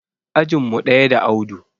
Ajin mu ɗaya da Audu